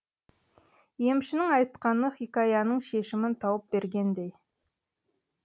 емшінің айтқаны хикаяның шешімін тауып бергендей